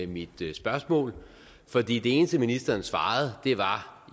mit spørgsmål for det eneste ministeren svarede var